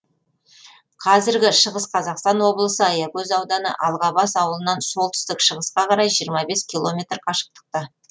қазіргі шығыс қазақстан облысы аягөз ауданы алғабас ауылынан солтүстік шығысқа қарай километр қашықтықта